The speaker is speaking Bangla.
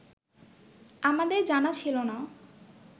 আমাদের জানা ছিল না